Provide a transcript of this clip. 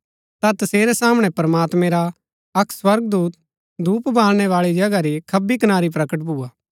ता तसेरै सामणै प्रमात्मैं रा अक्क स्वर्गदूत धूप बाळणै बाळी जगहा री खब्बी कनारी प्रकट भुआ